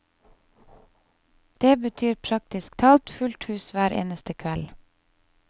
Det betyr praktisk talt fullt hus hver eneste kveld.